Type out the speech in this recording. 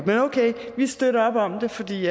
men okay vi støtter op om det fordi